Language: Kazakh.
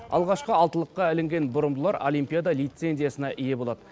алғашқы алтылыққа ілінген бұрымдылар олимпиада лицензиясына ие болады